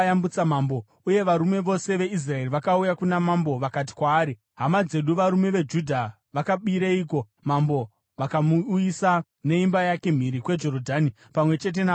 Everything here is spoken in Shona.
Uye varume vose veIsraeri vakauya kuna mambo vakati kwaari, “Hama dzedu, varume veJudha, vakabireiko mambo vakamuuyisa neimba yake mhiri kweJorodhani, pamwe chete navanhu vake vose?”